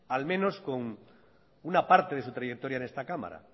al menos con una parte de su trayectoria en esta cámara